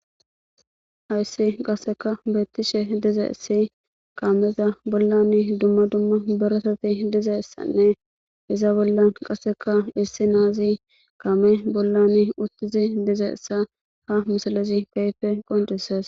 Hayssi qasseka beettishe dize issi kaameza bollan dumma dumma beresati diza ssanne iza bollan qasseka issi naazi kaame bollan uttizi dizeessa ha misalezi kayfe qoncises.